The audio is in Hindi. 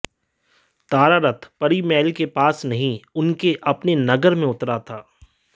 तारा रथ परी महल के पास नहीं उसके अपने नगर में उतरा था